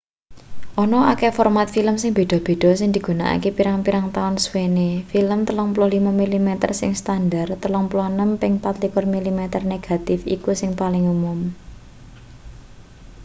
ana akeh format film sing beda-beda sing digunakake pirang-pirang taun suwene. film 35 mm sing standar 36 ping 24 mm negatif iku sing paling umum